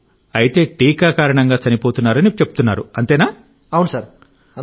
అయితే టీకా కారణంగా చనిపోతున్నారని చెప్తున్నారా